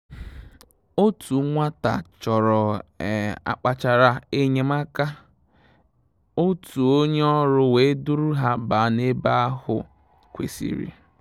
Òtù nwàtà chọ̀rọ̀-ákpàchárá é nyé màká, òtù ó nyé ọ́rụ́ wèé dùrù hà bàà n’ébè áhụ̀ kwésị́rị́.